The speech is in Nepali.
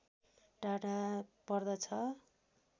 टाढा पर्दछ